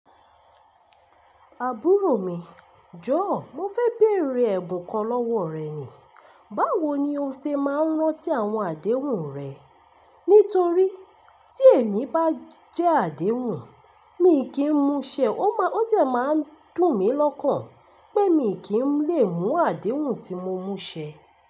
Àbúrò mi, jọ̀ọ́ mo fẹ́ béèrè ẹ̀bùn kan lọ́wọ́ rẹ ni. Báwo ni o ṣe máa ń rántí àwọn àdéhùn rẹ? Nítorí tí èmi bá jẹ́ àdéhùn, mi kì í múṣẹ, ó jẹ̀ máa ń dùn mí lọ́kàn pé mi kì í lè mú àdéhùn tí mo múṣẹ.